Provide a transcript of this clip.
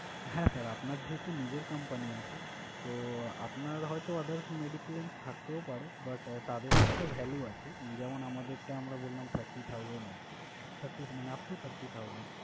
হ্যাঁ Sir আপনার যেহেতু নিজের company আছে, তো আপনার হয়ত others medi-claim থাকতেও পারে but তাদেরও একটা value আছে, যেমন আমাদেরটা আমরা বললাম thirty thousand অব্দি, মানে upto thirty thousand